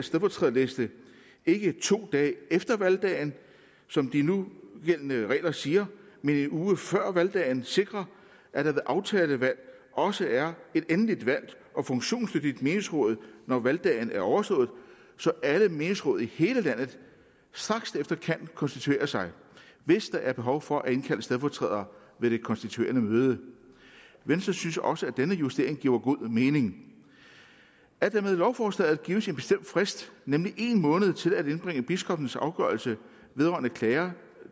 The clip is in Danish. stedfortræderliste ikke to dage efter valgdagen som de nugældende regler siger men en uge før valgdagen sikrer at der ved aftalevalg også er et endeligt valgt og funktionsdygtigt menighedsråd når valgdagen er overstået så alle menighedsråd i hele landet straks derefter kan konstituere sig hvis der er behov for at indkalde stedfortrædere ved det konstituerende møde venstre synes også at denne justering giver god mening at der med lovforslaget gives en bestemt frist nemlig en måned til at indbringe biskoppens afgørelse vedrørende klager